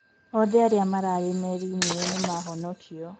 othe aria mararĩ merĩnĩ iyo nĩmahonokio